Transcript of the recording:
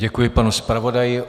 Děkuji panu zpravodaji.